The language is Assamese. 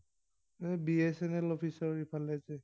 এৰ বি এছ এন এল অফিচৰ ইফালে যে।